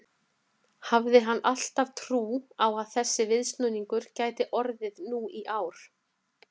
Hafði hann alltaf trú á að þessi viðsnúningur gæti orðið nú í ár?